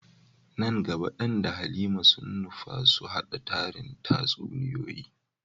Nan gaba Dan da Halima sun nufa su hada tarin tatsuniyoyi.